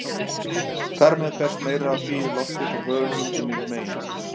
Þar með berst meira af hlýju lofti frá höfunum inn yfir meginlönd.